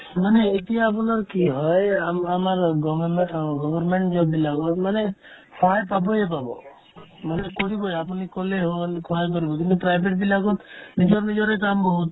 মানে এতিয়া আপোনাৰ কি হয় আমা ~ আমাৰ অ government ত government job বিলাকত মানে সহায় পাবয়ে পাব মানে কৰিবই আপুনি ক'লে হ'ল সহায় কৰিব কিন্তু private বিলাকত নিজৰ নিজৰে কাম বহুত